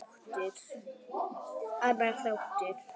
Annar þáttur.